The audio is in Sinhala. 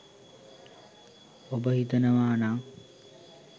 ඔබ හිතනවානං